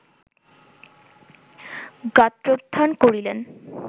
গাত্রোত্থান করিলেন